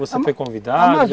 Você foi convidado?